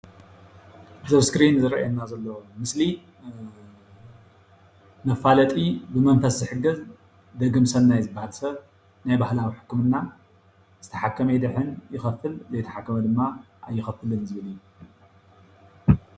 እዚ እስክሪን ዝርአየና ዘሎ ምስሊ መፋለጢ ብመንፈስ ዝሕገዝ ደግምሰናይ ዝበሃል ሰብ ናይ ባህላዊ ሕክምና ዝተሓከመ ይኸፍል ።ዘይተሓከመ ድማ ኣይኸፍልን ዝብል እዩ።